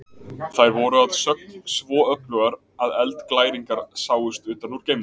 Þær voru að sögn svo öflugar að eldglæringarnar sáust utan úr geimnum.